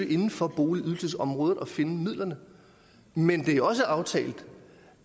inden for boligydelsesområdet skal søge at finde midlerne men det er også aftalt